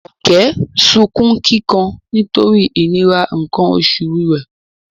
Jumoke sunkún kíkan nítorí ìnira nǹkan oṣù rẹ̀